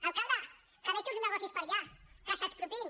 alcalde que veig uns negocis per allà que s’expropiïn